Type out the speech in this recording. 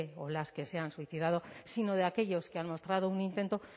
o las que se han suicidado sino de aquellos que han mostrado un intento